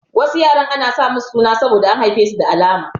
Wasu yaran ana sa musu suna saboda an haife su da alama.